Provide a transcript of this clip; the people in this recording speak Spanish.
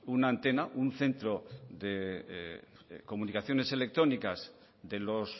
una antena un centro de comunicaciones electrónicas de los